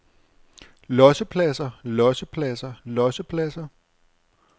lossepladser lossepladser lossepladser